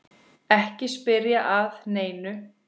Ekki spyrja að neinu!